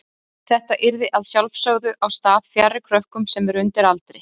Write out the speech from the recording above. Þetta yrði að sjálfsögðu á stað fjarri krökkum sem eru undir aldri.